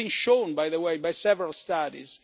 This has been shown, by the way, in several studies.